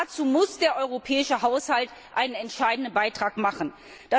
Und dazu muss der europäische Haushalt einen entscheidenden Beitrag leisten.